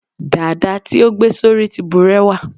dada ti o gbe sori ti burewa